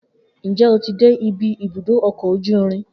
Njẹ o ti dé ibi ibùdó ọkọ ojú irin?